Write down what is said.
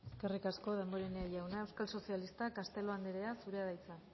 eskerrik asko damborenea jauna euskal sozialistak castelo anderea zurea da hitza